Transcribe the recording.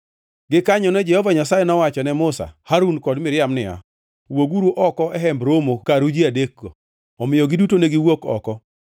Gikanyono Jehova Nyasaye nowacho ne Musa, Harun kod Miriam niya, “Wuoguru oko e Hemb Romo karu ji adekgo.” Omiyo giduto ne giwuok oko.